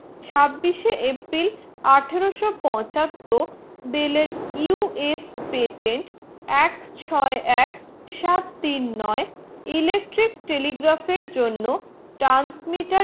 ছাব্বিশে april আঠারো সো পঁচাত্তর বেলের US patent এক ছয়ে এক সাত তিন নয় electric telegraph এর জন্য transmeter